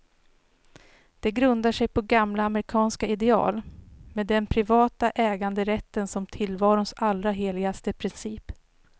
Den grundar sig på gamla amerikanska ideal, med den privata äganderätten som tillvarons allra heligaste princip.